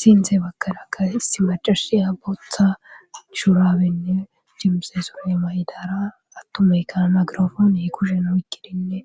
Sinthe bakkada ka isi macashiya botha churaabenne jemse sume may7idara attumeykan nagirafoon i kushen wikkidinne